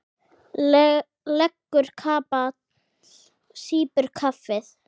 Leggur kapal, sýpur kaffið.